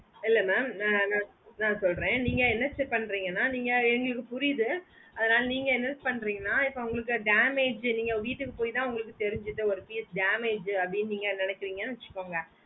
இல்ல mam ந ந சொல்லறேன் நீங்க என்ன பன்றிங்கனா நீங்க எங்களுக்கு புரிது அதனால நீங்க என்ன பன்றிங்கனா இப்போ உங்களுக்கு damage நீங்க வீட்டுக்கு பொய்த்தா தெரிஞ்சிதுன்னா ஒரு piece damage அப்புடின்னு நீங்க நெனக்குறிங்கனு வெச்சுக்கோங்க